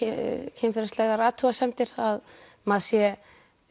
kynferðislegar athugasemdir að maður sé